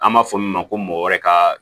An b'a fɔ min ma ko mɔgɔ wɛrɛ ka